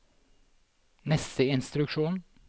neste instruksjon